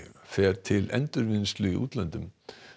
fer til endurvinnslu í útlöndum